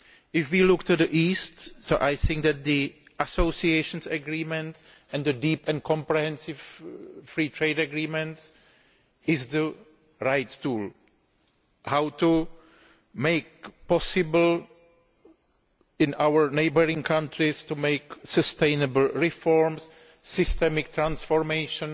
If we look to the East, we will see that the Association Agreements and the Deep and Comprehensive Free Trade Agreements are the right tools to enable our neighbouring countries to make sustainable reforms and systemic transformation